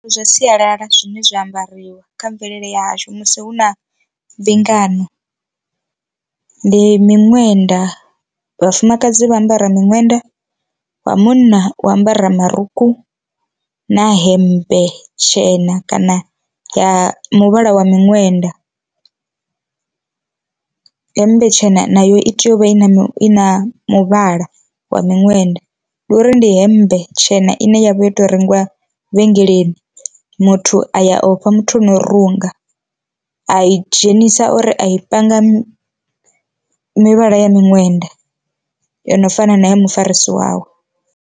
Zwa sialala zwine zwa ambariwa kha mvelele yashu musi hu na mbingano, ndi miṅwenda vhafumakadzi vha ambara miṅwenda wa munna u ambara marukhu na hemmbe tshena kana ya muvhala wa miṅwenda. Hemmbe tshena nayo i tea uvha i na mini na muvhala wa miṅwenda, ndi uri ndi hemmbe tshena ine yavha yo to rengiwa vhengeleni muthu a ya ofha muthu ano runga a i dzhenisa uri a i panga mivhala ya miṅwenda yo no fana na ya mufarisi wawe.